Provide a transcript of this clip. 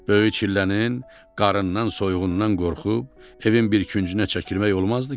Böyük çillənin qarından, soyuğundan qorxub evin bir küncünə çəkilmək olmazdı ki?